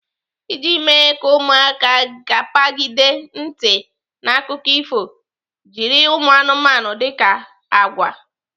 Iji mee ka ụmụaka gepagide ntị n'akụkọ ifo, jiri ụmụanụmanụ dika agwa.